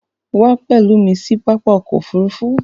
Wà pẹ̀lú mi sí pápá ọkọ̀ òfurufú!